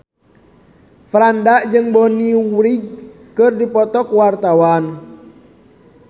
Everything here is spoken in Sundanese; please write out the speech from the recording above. Franda jeung Bonnie Wright keur dipoto ku wartawan